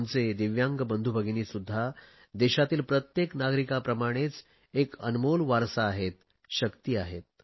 आमचे दिव्यांग बंधू भगिनींसुध्दा देशातील प्रत्येक नागरिकांप्रमाणेच एक अनमोल वारसा आहेत शक्ती आहेत